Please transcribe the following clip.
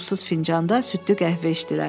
Qulpsuz fincanda südlü qəhvə içdilər.